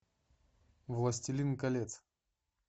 властелин колец